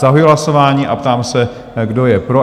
Zahajuji hlasování a ptám se, kdo je pro?